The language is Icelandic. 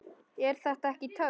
Er þetta ekki töff?